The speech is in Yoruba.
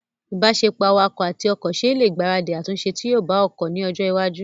ìbáṣepọ̀ awakọ̀ àti ọkọ̀ ṣe ẹ lè gbaradì àtúnṣe tí yóò bá ọkọ̀ ní ọjọ́ iwájú